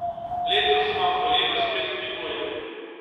Letos vam koleno spet kljubuje.